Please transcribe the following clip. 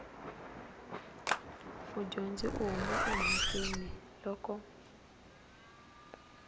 mudyondzi u huma emhakeni loko